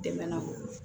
Dɛmɛ na o